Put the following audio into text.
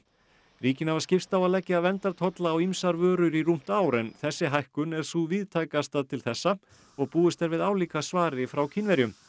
ríkin hafa skipst á að leggja verndartolla á ýmsar vörur í rúmt ár en þessi hækkun er sú víðtækasta til þessa og búist er við álíka svari frá Kínverjum